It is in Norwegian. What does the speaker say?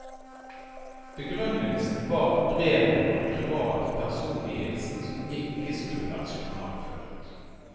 Begrunnelsen var at brevet var en privat personlig hilsen som ikke skulle vært journalført.